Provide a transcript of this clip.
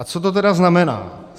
A co to tedy znamená?